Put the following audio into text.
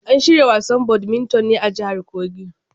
An shirya wasan badminton ne a jahar kogi.